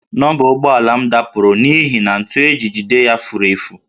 Nọmba ụgbọala m dapụrụ n'ihi na ntu e ji jide ya furu efu